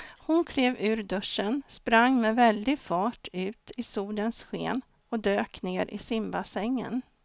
Hon klev ur duschen, sprang med väldig fart ut i solens sken och dök ner i simbassängen.